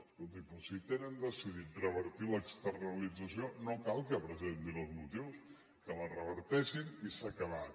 escolti doncs si tenen decidit revertir l’externalització no cal que presentin els motius que la reverteixin i s’ha acabat